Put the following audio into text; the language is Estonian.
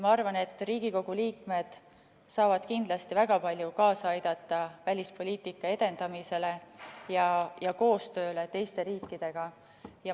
Ma arvan, et Riigikogu liikmed saavad kindlasti väga palju kaasa aidata välispoliitika edendamisele ja koostööle teiste riikidega.